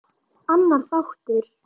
Annar þáttur